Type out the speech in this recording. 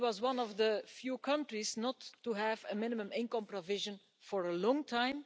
Italy was one of the few countries not to have a minimum income provision for a long time.